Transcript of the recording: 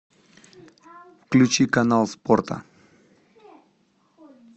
включи канал спорта